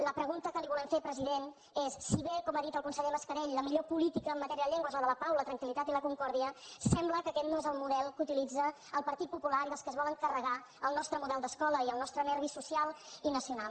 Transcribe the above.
la pregunta que li volem fer president és si bé com ha dit el conseller mascarell la millor política en matèria de llengua és la de la pau la tranquil·còrdia sembla que aquest no és el model que utilitza el partit popular i els que es volen carregar el nostre model d’escola i el nostre nervi social i nacional